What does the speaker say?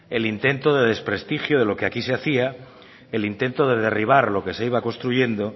el intento de desprestigio de lo que aquí se hacía el intento de derribar lo que se iba construyendo